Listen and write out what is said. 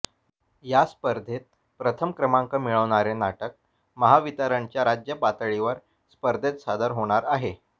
या स्पर्धेत प्रथम क्रमांक मिळवणारे नाटक महावितरणच्या राज्य पातळीवर स्पर्धेत सादर होणार आहे